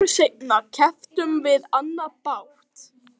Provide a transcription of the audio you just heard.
Nokkru seinna keyptum við annan bát.